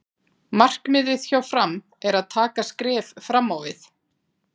Markmiðið hjá Fram er að taka skref fram á við.